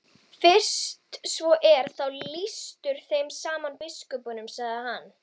Fyrst svo er þá lýstur þeim saman biskupunum, sagði hann.